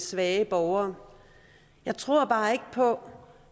svage borgere jeg tror bare ikke på